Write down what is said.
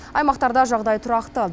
аймақтарда жағдай тұрақты